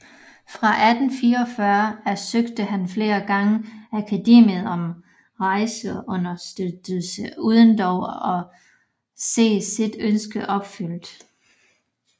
Fra 1844 af søgte han flere gange Akademiet om rejseunderstøttelse uden dog at se sit ønske opfyldt